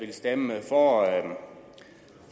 stemme